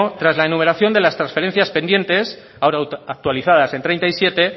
tras la enumeración de las transferencias pendientes ahora actualizadas en treinta y siete